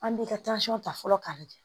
An b'i ka ta fɔlɔ k'a lajɛ